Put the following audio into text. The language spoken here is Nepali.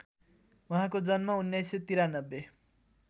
उहाँको जन्म १९९३